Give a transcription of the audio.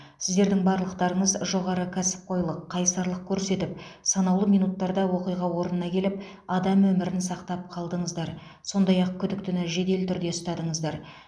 сіздердің барлықтарыңыз жоғары кәсіпқойлық қайсарлық көрсетіп санаулы минуттарда оқиға орнына келіп адам өмірін сақтап қалдыңыздар сондай ақ күдіктіні жедел түрде ұстадыңыздар